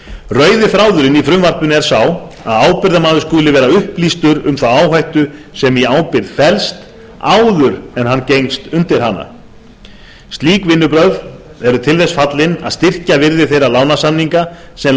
rauði þráðurinn í frumvarpinu er sá að ábyrgðarmaður skuli vera upplýstur um þá áhættu sem í ábyrgð felst áður en hann gengst undir hana slík vinnubrögð eru til þess fallin að styrkja virði þeirra lánasamninga sem